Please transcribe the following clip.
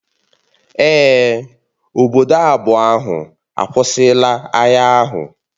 Èè, obodo abụọ ahụ akwụsịla agha ahụ